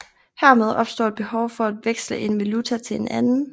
Hermed opstår et behov for at veksle én valuta til en anden